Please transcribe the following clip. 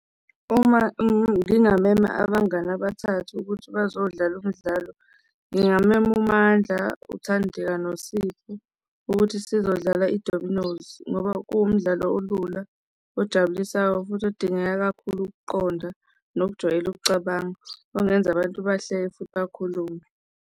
Uma ngingamema abangani abathathi ukuthi bezodlala umdlalo, ngingamema uMandla, uThandeka, noSipho ukuthi sizodlala i-dominos ngoba kuwumdlalo olula ojabulisayo futhi odingeka kakhulu ukuqonda nokujwayela ukucabanga ongenza abantu bahleke futhi akhulume.